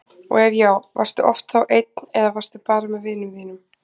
og ef já, varstu oft þá einn eða varstu bara með vinum þínum?